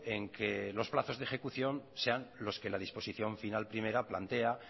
en que los plazos de ejecución sean los que la disposición final primera plantea